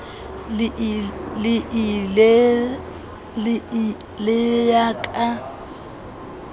le ii le ya ka